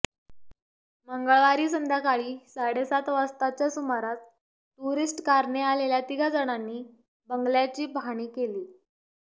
मंगळवारी संध्याकाळी साडेसात वाजताच्या सुमारास टुरीस्ट कारने आलेल्या तिघा जणांनी बंगल्याची पाहणी केली